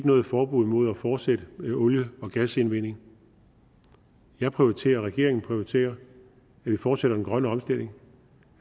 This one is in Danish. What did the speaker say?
noget forbud imod at fortsætte med olie og gasindvinding jeg prioriterer og regeringen prioriterer at vi fortsætter den grønne omstilling